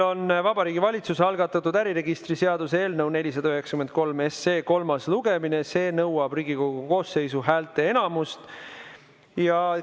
Vabariigi Valitsuse algatatud äriregistri seaduse eelnõu 493 kolmas lugemine, mis nõuab Riigikogu koosseisu häälteenamust.